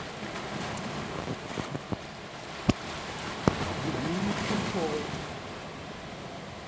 людмиле чирковой